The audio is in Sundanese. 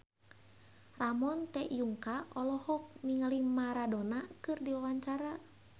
Ramon T. Yungka olohok ningali Maradona keur diwawancara